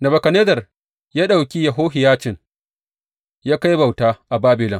Nebukadnezzar ya ɗauki Yehohiyacin ya kai bauta a Babilon.